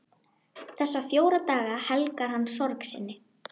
Þessa fjóra daga helgar hann sorg sinni.